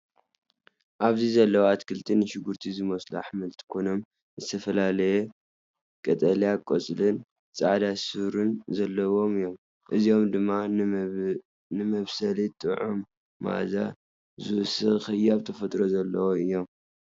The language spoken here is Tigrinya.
ኣብዚ ዘለዉ ኣትክልቲ ሽንጉርቲ ዝመስሉ ኣሕምልቲ ኮይኖም፡ ዝተፈላለየ ቀጠልያ ቆጽልን ጻዕዳ ሱርን ዘለዎም እዮም። እዚኦም ድማ ንመብሰሊ ጥዑም መኣዛ ዝውስኽ ህያብ ተፈጥሮ ዘለዎም እዮም።